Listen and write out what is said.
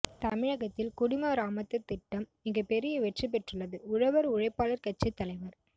தமிழகத்தில் குடிமராமத்து திட்டம் மிகப் பெரிய வெற்றி பெற்றுள்ளது உழவா் உழைப்பாளா் கட்சித் தலைவா்